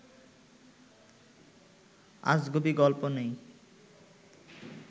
আজগুবি গল্প নেই